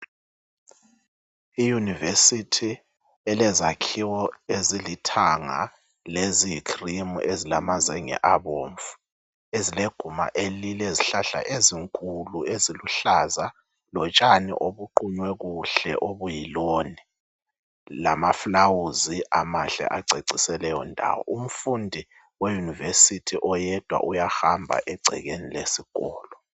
I univesithi elezakhiwo ezilithanga leziyi khilimu ezilama zenge abomvu ezileguma lilezihlahla ezinkulu eziluhlaza lotshani obuqunywe kuhle okuyiloni lamafulawuzi umfundi we univesithi uyahamba oyedwa uyahamba egumeni lesikolo.